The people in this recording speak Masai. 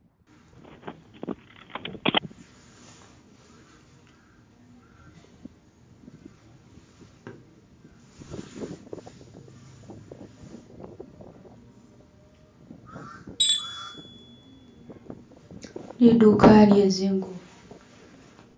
Liduka lyezingubo